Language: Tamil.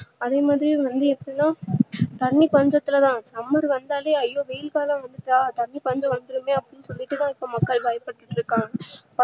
அதே மாதிரி வந்து எப்டினா தண்ணீ பஞ்சத்துளதா summer வந்தாலே ஐயோ வெயில் காலம் வந்திட்டா தண்ணீர் பஞ்சம் வந்துடுமே அப்டின்னு சொல்லி கூட மக்கள் பயபட்டுருக்காங்க